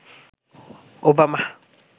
Obama